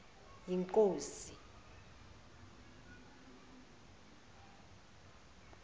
yinkosi